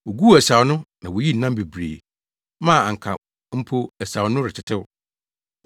Woguu asau no na woyii nam bebree maa anka mpo asau no retetew.